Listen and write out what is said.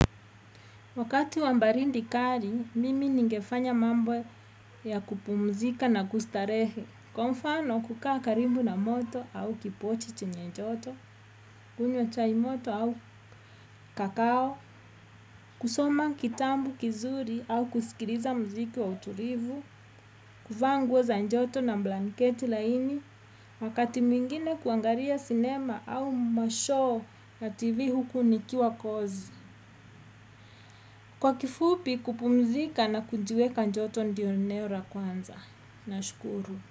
Wakati wa baridi kali, mimi ningefanya mambo ya kupumzika na kustarehe. Kwa mfano, kukaa karibu na moto au kipochi chenye joto, kunywa chai moto au kakao, kusoma kitabu kizuri au kusikiliza mziki wa utulivu, kuvaa nguo za njoto na blanketi laini, wakati mwingine kuangalia sinema au 'mashow' na tv huku nikiwa kozi. Kwa kifupi kupumzika na kujiweka kjoto ndio eneo la kwanza. Nashukuru.